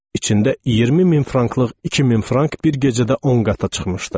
İçində 20 min franklıq 2000 frank bir gecədə 10 qata çıxmışdı.